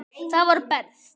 Það var best.